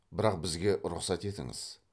бірақ бізге рұқсат етіңіз